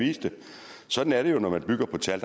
viste sådan er det jo når man bygger på tal